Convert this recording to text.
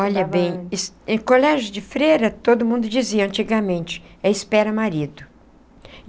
Olha bem, em colégio de freira, todo mundo dizia antigamente, é espera marido.